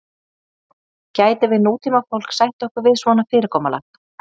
Gætum við nútímafólk sætt okkur við svona fyrirkomulag?